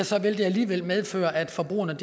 så vil det alligevel medføre at forbrugerne